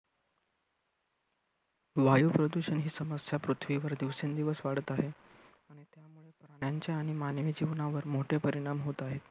वायू प्रदूषण ही समस्या पृथ्वीवर दिवसेंदिवस वाढत आहे. त्यांच्या आणि मानवी जीवनावर मोठे परिणाम होत आहेत.